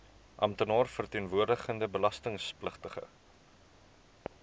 amptenaar verteenwoordigende belastingpligtige